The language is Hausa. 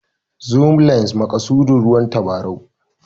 Zoom lens=maƙasudin ruwan tabarau